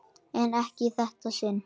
En ekki í þetta sinn.